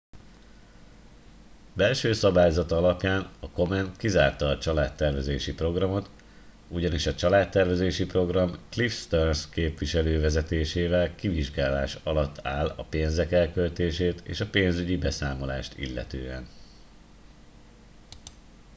belső szabályzata alapján a komen kizárta a családtervezési programot ugyanis a családtervezési program cliff stearns képviselő vezetésével kivizsgálás alatt áll a pénzek elköltését és a pénzügyi beszámolást illetően